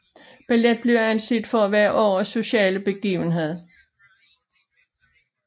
Ballet blev anset for at være årets sociale begivenhed